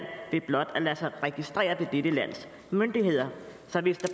ved blot at lade sig registrere ved dette lands myndigheder så hvis der